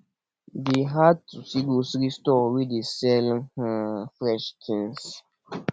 e dey hard to see grocery store wey dey sell um fresh tins